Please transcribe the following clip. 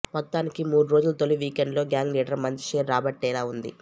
మొత్తానికి మూడు రోజుల తొలి వీకెండ్లో గ్యాంగ్ లీడర్ మంచి షేరే రాబట్టేలా ఉంది